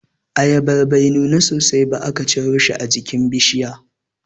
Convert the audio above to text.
Ayabar bai nuna sosai ba aka ciro shi a jikin bishiya.